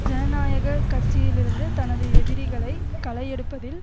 ஜனநாயக கட்சியிலிருந்து தனது எதிரிகளை களை எடுப்பதில்